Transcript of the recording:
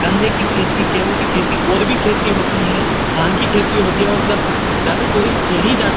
गन्ने की खेती गेहू की खेती और भी खेती होती है। धान की खेती होती है और जब ज्यादा टुरिस्ट यही जाता है।